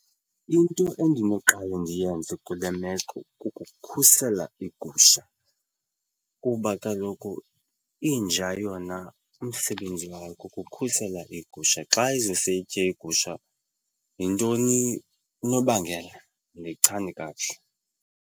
Into endinoqale ndiyenze kule meko kukukhusela iigusha kuba kaloku inja yona umsebenzi wayo kukukhusela le gusha. Xa izose itye igusha yintoni unobangela? Andiyichani kakuhle.